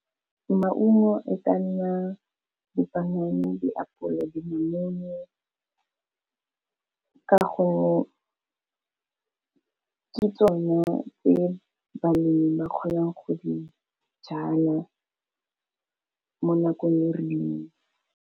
Maungo e ka nna di panana, di apole, di namune, ka gore ke tsona tse balemi ba kgonang go di jala mo nakong e rileng.